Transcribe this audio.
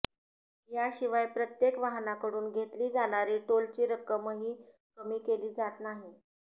याशिवाय प्रत्येक वाहनाकडून घेतली जाणारी टोलची रक्कमही कमी केली जात नाही